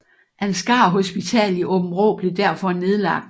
Ansgar Hospital i Aabenraa blev derfor nedlagt